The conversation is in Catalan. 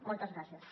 moltes gràcies